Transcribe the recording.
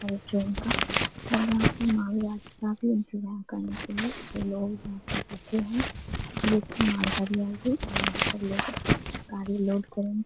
और ये ट्रेन का और यहां पे मालगाड़ी का लोग यहाँ पर बैठे हैं। मालगाड़ी आएगी और यहाँ पर लोग लोड करेंगे।